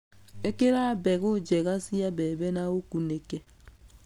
Ĩkĩra mbegũ njega cia mbembe na ũkunĩke.